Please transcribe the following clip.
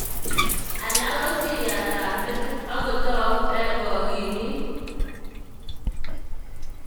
Alak ko siriat ab metit akotou eng akilit.